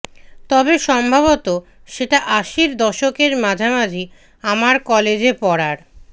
তবে সম্ভবত সেটা আশির দশকের মাঝামাঝি আমার কলেজে পড়ার